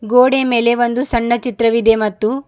ಗೋಡೆ ಮೇಲೆ ಒಂದು ಸಣ್ಣ ಚಿತ್ರವಿದೆ ಮತ್ತು--